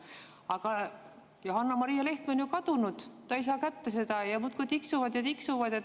Aga Johanna-Maria Lehtme on ju kadunud, ta ei saa seda kätte, ja aeg muudkui tiksub ja tiksub.